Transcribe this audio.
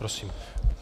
Prosím.